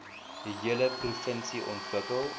hele provinsie ontwikkel